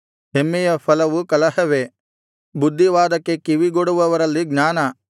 ಹೆಮ್ಮೆಯ ಫಲವು ಕಲಹವೇ ಬುದ್ಧಿವಾದಕ್ಕೆ ಕಿವಿಗೊಡುವವರಲ್ಲಿ ಜ್ಞಾನ